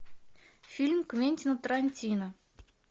фильм квентина тарантино